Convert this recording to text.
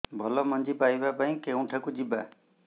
ଭଲ ମଞ୍ଜି ପାଇବା ପାଇଁ କେଉଁଠାକୁ ଯିବା